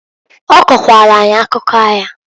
Ọ kọkwalụ anyị akụkọ aya.